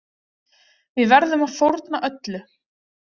Við verðum að fórna öllu.